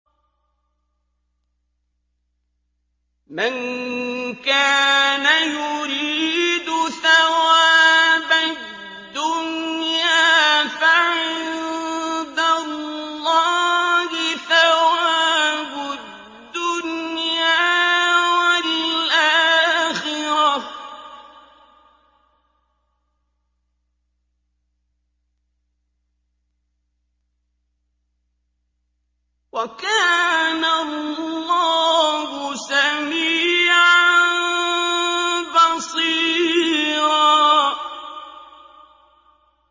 مَّن كَانَ يُرِيدُ ثَوَابَ الدُّنْيَا فَعِندَ اللَّهِ ثَوَابُ الدُّنْيَا وَالْآخِرَةِ ۚ وَكَانَ اللَّهُ سَمِيعًا بَصِيرًا